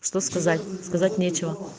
что сказать сказать нечего